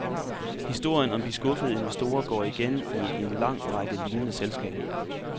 Historien om de skuffede investorer går igen i en lang række lignende selskaber.